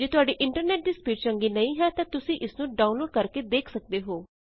ਜੇ ਤੁਹਾਡੇ ਇੰਟਰਨੈਟ ਦੀ ਸਪੀਡ ਚੰਗੀ ਨਹੀਂ ਹੈ ਤਾਂ ਤੁਸੀਂ ਇਸ ਨੂੰ ਡਾਊਨਲੋਡ ਕਰਕੇ ਦੇਖ ਸਕਦੇ ਹੋ